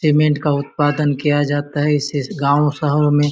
cement का उत्पादन किया जाता है इस इस शहर गांव मे --